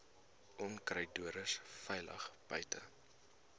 onkruiddoders veilig buite